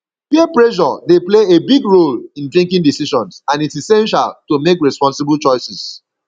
peer pressure dey play a big role in drinking decisions and its essential to make responsible choices